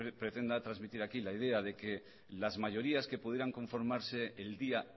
pretenda transmitir aquí la idea de que las mayorías que pudieran conformarse el día